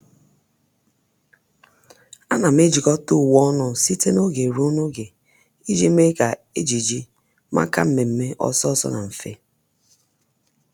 À nà m ejikọ́ta uwe ọnụ site n’ógè ruo n’ógè iji mee kà ejiji màkà mmèmme ọ́sọ́ ọ́sọ́ na mfe.